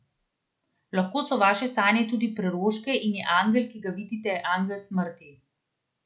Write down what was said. Lahko so vaše sanje tudi preroške in je angel, ki ga vidite, angel smrti.